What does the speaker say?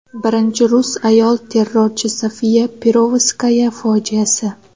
Birinchi rus ayol terrorchi Sofiya Perovskaya fojiasi.